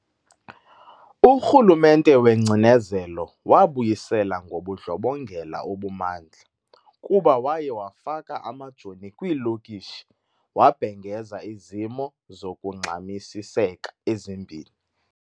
uRhulumente wengcinezelo wabuyisela ngobundlobongela obumandla kuba waye wafaka amajoni kwiilokishi wabhengeza izimo zokungxamisiseka ezimbini.